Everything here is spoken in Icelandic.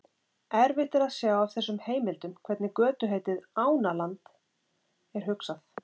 Erfitt er að sjá af þessum heimildum hvernig götuheitið Ánaland er hugsað.